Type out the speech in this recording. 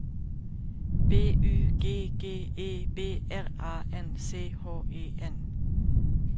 B Y G G E B R A N C H E N